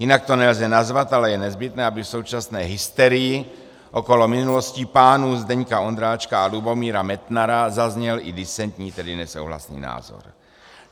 "Jinak to nelze nazvat, ale je nezbytné, aby v současné hysterii okolo minulosti pánů Zdeňka Ondráčka a Lubomíra Metnara zazněl i disentní, tedy nesouhlasný názor.